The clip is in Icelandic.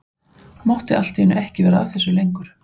Mátti allt í einu ekki vera að þessu lengur.